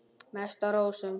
Mest á rósum.